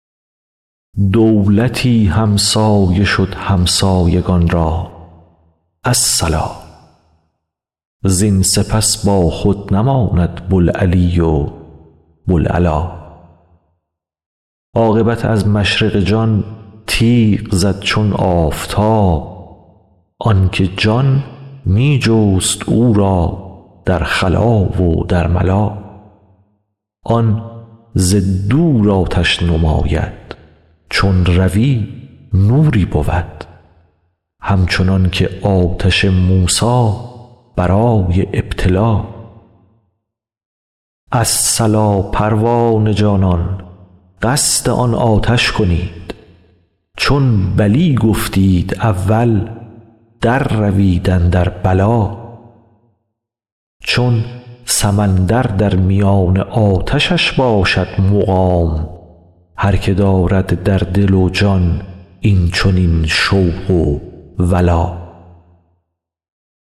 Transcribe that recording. دولتی همسایه شد همسایگان را الصلا زین سپس باخود نماند بوالعلی و بوالعلا عاقبت از مشرق جان تیغ زد چون آفتاب آن که جان می جست او را در خلا و در ملا آن ز دور آتش نماید چون روی نوری بود همچنان که آتش موسی برای ابتلا الصلا پروانه جانان قصد آن آتش کنید چون بلی گفتید اول درروید اندر بلا چون سمندر در میان آتشش باشد مقام هر که دارد در دل و جان این چنین شوق و ولا